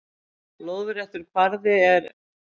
Lóðréttur kvarði er